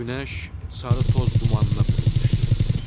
Günəş sarı toz dumanına bürünmüşdü.